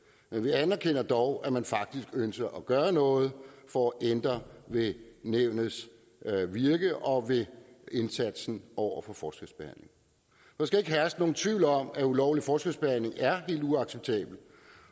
men vi anerkender dog at man faktisk ønsker at gøre noget for at ændre ved nævnets virke og ved indsatsen over for forskelsbehandling der skal ikke herske nogen tvivl om at ulovlig forskelsbehandling er helt uacceptabelt